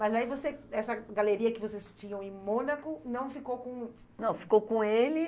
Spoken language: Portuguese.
Mas aí você, essa galeria que vocês tinham em Mônaco não ficou com... Não, ficou com ele.